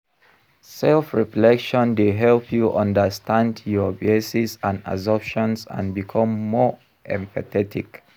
Self-reflection dey help you understand your biases and assumptions, and become more empathetic.